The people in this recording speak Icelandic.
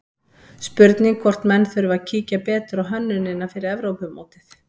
Spurning hvort menn þurfi að kíkja betur á hönnunina fyrir Evrópumótið?